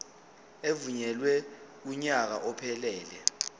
evunyelwe kunyaka ophelele